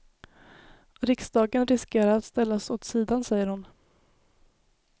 Riksdagen riskerar att ställas åt sidan, säger hon.